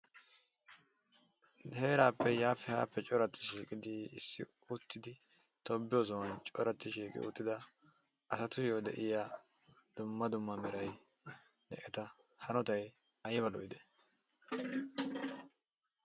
Heerappe yaappe haappe corati shiiqidi issippe uttidi tobbiyo sohoy corati shiiqi uttida asatuyyo de'iyaa dumma dumma meray eta hanotay aybba lo''i!